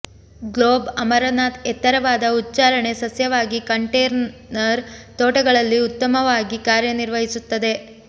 globe amaranth ಎತ್ತರವಾದ ಉಚ್ಚಾರಣೆ ಸಸ್ಯವಾಗಿ ಕಂಟೇನರ್ ತೋಟಗಳಲ್ಲಿ ಉತ್ತಮವಾಗಿ ಕಾರ್ಯನಿರ್ವಹಿಸುತ್ತದೆ